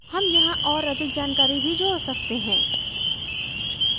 हम यहाँ और अधिक जानकारी भी जोड़ सकते हैं